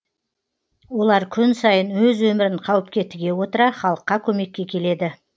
олар күн сайын өз өмірін қауіпке тіге отыра халыққа көмекке келеді